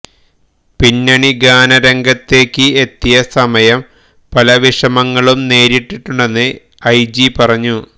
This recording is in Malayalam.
പിന്നണിഗാന രംഗത്തേക്ക് എത്തിയ സമയം പല വിഷമങ്ങളും നേരിട്ടുണ്ടെന്ന് എംജി പറഞ്ഞു